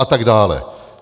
A tak dále.